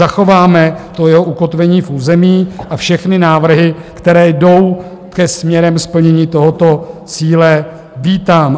Zachováme to jeho ukotvení v území a všechny návrhy, které jdou směrem ke splnění tohoto cíle, vítám.